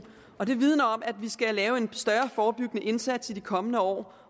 og det vidner om at vi skal lave en større forebyggende indsats i de kommende år